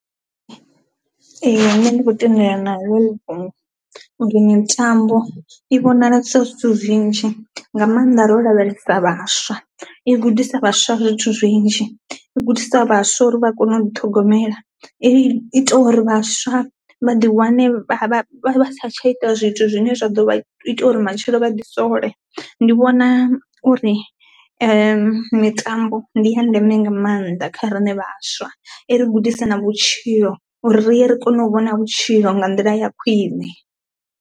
Ee nṋe ndi khou tendelana naḽo heli fhungo uri mitambo i vhonala sa zwithu zwinzhi nga maanḓa ro lavhelesa vhaswa, i gudisa vhaswa zwithu zwinzhi, i gudisa vhaswa uri vha kone u ḓi ṱhogomela, i ita uri vhaswa vha ḓi wane vha sa tsha ita zwithu zwine zwa ḓo ita uri matshilo vha ḓi sole, ndi vhona uri mitambo ndi ya ndeme nga maanḓa kha rine vhaswa i ri gudisa na vhutshilo uri ri ye ri kone u vhona vhutshilo nga nḓila ya khwine.